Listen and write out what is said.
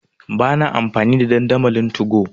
Ba na amfani da dandamalin 2go.